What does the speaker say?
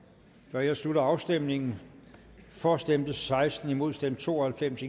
nu jeg slutter afstemningen for stemte seksten imod stemte to og halvfems